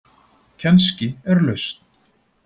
Kannski er lausn